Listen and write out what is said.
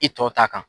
I tɔ ta kan